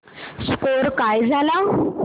score काय झाला